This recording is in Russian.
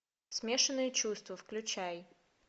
смешанные чувства включай